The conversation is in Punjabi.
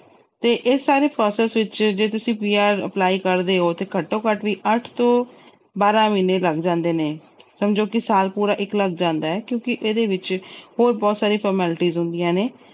ਤੇ ਇਹ ਸਾਰੇ process ਵਿੱਚ ਤੁਸੀਂ PR apply ਕਰਦੇ ਓ, ਤਾਂ ਘੱਟੋ-ਘੱਟ ਅੱਠ ਤੋਂ ਬਾਰ੍ਹਾਂ ਮਹੀਨੇ ਲੱਗ ਜਾਂਦੇ ਨੇ। ਸਮਝੋ ਕਿ ਸਾਲ ਪੂਰਾ ਇੱਕ ਲੱਗ ਜਾਂਦਾ ਕਿਉਂਕਿ ਇਹਦੇ ਵਿੱਚ ਹੋਰ ਬਹੁਤ ਸਾਰੀਆਂ formalities ਹੁੰਦੀਆਂ ਨੇ।